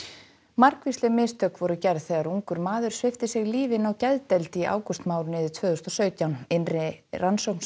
margvísleg mistök voru gerð þegar ungur maður svipti sig lífi inni á geðdeild í ágústmánuði tvö þúsund og sautján innri rannsókn